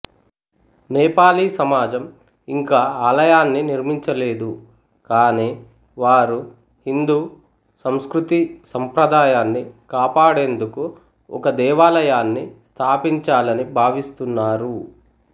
నేపాలీ సమాజం ఇంకా ఆలయాన్ని నిర్మించలేదు కానీ వారు హిందూ సంస్కృతి సంప్రదాయాన్ని కాపాడేందుకు ఒక దేవాలయాన్ని స్థాపించాలని భావిస్తున్నారు